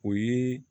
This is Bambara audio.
O ye